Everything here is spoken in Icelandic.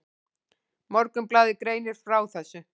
Morgunblaðið greinir frá þessu.